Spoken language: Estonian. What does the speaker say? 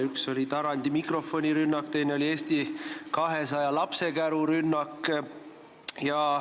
Üks oli Tarandi mikrofonirünnak, teine oli Eesti 200 lapsekärurünnak.